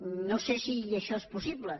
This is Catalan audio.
no sé si això és possible